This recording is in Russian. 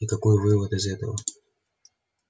и какой вывод из этого